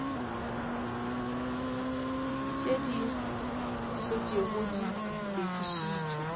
tše di šetšego di lokišitšwe